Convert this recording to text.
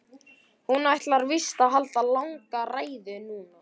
Hún ætlar víst að halda langa ræðu núna.